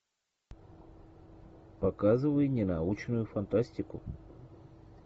показывай не научную фантастику